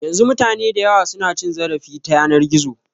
Yanzu mutane dayawa su na cin zarafi ta yanar gizo